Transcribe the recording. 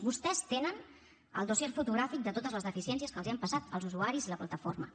vostès tenen el dossier fotogràfic de totes les deficiències que els han passat els usuaris i la plataforma